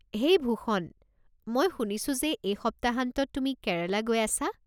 হেই ভূষণ, মই শুনিছো যে এই সপ্তাহান্তত তুমি কেৰালা গৈ আছা।